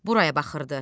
Buraya baxırdı.